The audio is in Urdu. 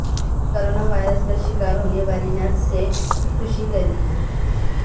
کورونا وائرس کا شکار ہونے والی نرس سےخودکشی کر لی